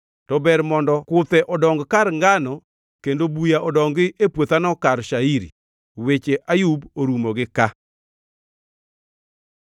to ber mondo kuthe odongi kar ngano kendo buya odongi e puothano kar shairi.” Weche Ayub orumo gi ka.